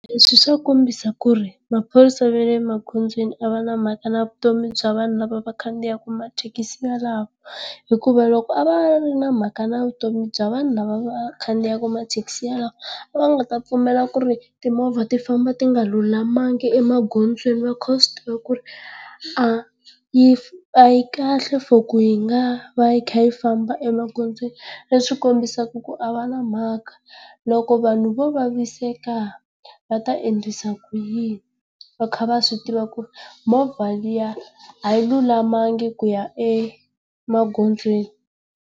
Leswi swa kombisa ku ri maphorisa va le magondzweni a va na mhaka na vutomi bya vanhu lava va khandziyaka mathekisi yalawo, hikuva loko a va ri na mhaka na vutomi bya va nhu lava khandziyaka mathekisi yalawo a va nga ta pfumela ku ri timovha ti famba ti nga lulamanga emagondzweni va kha va swi tiva ku ri a yi a yi kahle for ku yi nga va yi kha yi famba emagondzweni. Leswi kombisaka ku a va na mhaka, loko vanhu vo vaviseka va ta endlisa ku yini va kha va swi tiva ku ri movha liya a yi lulamanga ku ya emagondzweni?